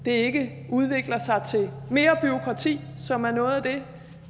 ikke udvikler sig til mere bureaukrati som er noget af det